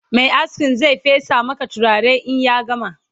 Mai askin Zai fesa Maka turare in ya gama